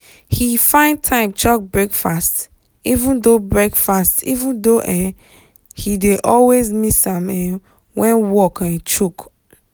he find time chop breakfast even though breakfast even though um he dey always miss am um when um work choke.